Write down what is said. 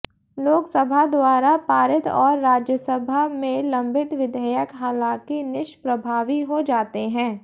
लोकसभा द्वारा पारित और राज्यसभा में लंबित विधेयक हालांकि निष्प्रभावी हो जाते हैं